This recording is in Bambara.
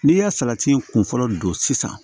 N'i ye salati kun fɔlɔ don sisan